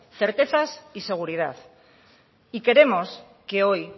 certezas y seguridad y queremos que hoy